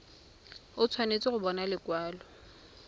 o tshwanetse go bona lekwalo